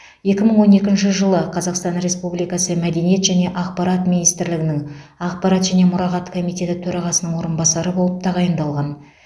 екі мың он екінші жылы қазақстан республикасы мәдениет және ақпарат министрлігінің ақпарат және мұрағат комитеті төрағасының орынбасары болып тағайындалған